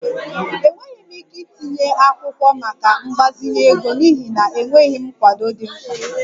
Enweghị m ike itinye akwụkwọ maka mgbazinye ego n'ihi na enweghị m nkwado dị mkpa